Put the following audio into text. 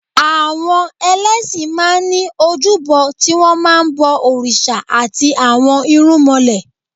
Àwọn ẹlẹ́ṣin máa ní ojúbọ tí wọn máa ń bọ òrìṣà àti àwọn irúmọlẹ̀.